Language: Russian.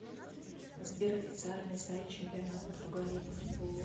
сбер официальный сайт чемпионат португалии по футболу